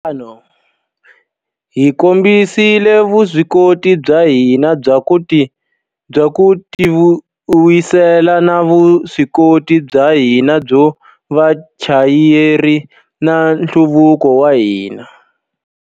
Hi ku endla tano, hi kombisile vuswikoti bya hina bya ku tivuyisela na vuswikoti bya hina byo va vachayeri va nhluvuko wa hina.